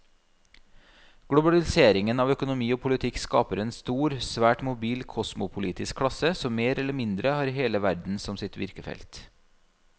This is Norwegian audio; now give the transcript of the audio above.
Globaliseringen av økonomi og politikk skaper en stor, svært mobil kosmopolitisk klasse som mer eller mindre har hele verden som sitt virkefelt.